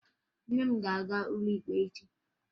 Nne m ga-aga ụlọ ikpe echi